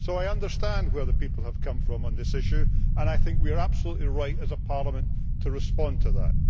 So I understand where the people have come from on this issue and I think we are absolutely right as a Parliament to respond to that.